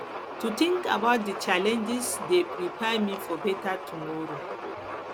to think about di challenges dey prepare me for beta tomoro